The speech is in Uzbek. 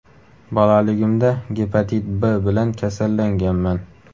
Bolaligimda gepatit B bilan kasallanganman.